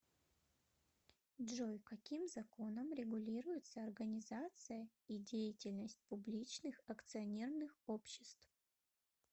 джой каким законом регулируется организация и деятельность публичных акционерных обществ